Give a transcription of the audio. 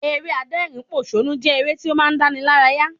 Eré adẹ́rìn pòsónú jẹ́ eré tí ó máa ń dáni lára yá